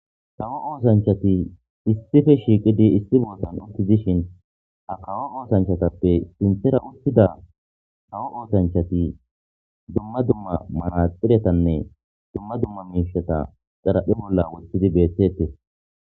tawo oosanchati issife shiiqidi issi bootan uttidishin akawo oosanchatappe sinthera uttida hawo oosanchati dumma dumma manaxiretanne dumma dumma miishata xaraphi bolla woththidi beeththettes